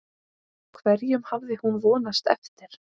Hverjum hafði hún vonast eftir?